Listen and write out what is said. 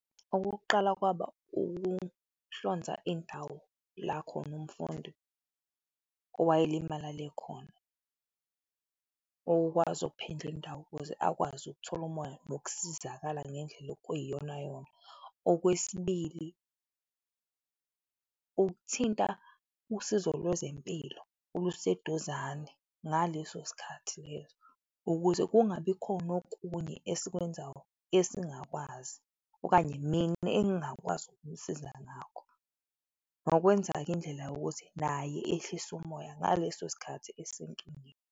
Okokuqala kwaba ukuhlonza indawo la khona umfundi owayelimalale khona, ukwazi indawo ukuze akwazi ukuthola umoya nokusizakala ngendlela okuyiyona yona. Okwesibili, ukuthinta usizo lwezempilo oluseduzane ngaleso sikhathi leso ukuze kungabi khona okunye esikwenzayo esingakwazi okanye mina engingakwazi ukumsiza ngakho nokwenza-ke indlela yokuthi naye ehlise umoya ngaleso sikhathi esenkingeni.